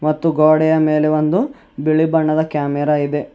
ಮತ್ತು ಗೋಡೆಯ ಮೇಲೆ ಒಂದು ಬಿಳಿ ಬಣ್ಣದ ಕ್ಯಾಮರಾ ಇದೆ.